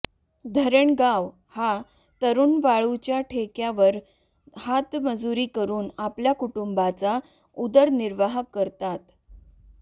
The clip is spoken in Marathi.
धरणगाव हा तरूण वाळूच्या ठेक्यावर हातमजूरी करून आपला कुटुंबाचा उदरनिर्वाह करतात